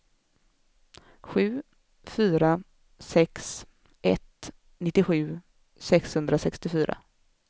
sju fyra sex ett nittiosju sexhundrasextiofyra